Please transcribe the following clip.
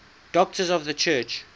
doctors of the church